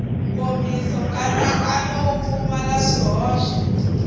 nkomiso nkatsakanyo wu pfumala swihoxo